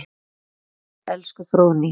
Far vel elsku Fróðný.